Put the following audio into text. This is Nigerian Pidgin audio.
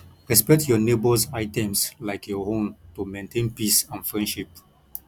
respect your neighbors items like your own to maintain peace and friendship